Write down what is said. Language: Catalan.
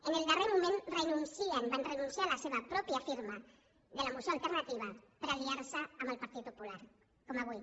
en el darrer moment renuncien van renunciar a la seva pròpia firma de la moció alternativa per aliar se amb el partit popular com avui